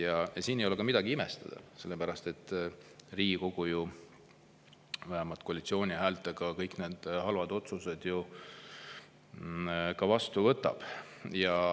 Ja siin ei ole midagi imestada, sellepärast et Riigikogu ju vähemalt koalitsiooni häältega kõik need halvad otsused ka vastu võtab.